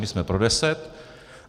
My jsme pro deset.